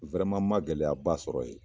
n ma gɛlɛyaba sɔrɔ yen.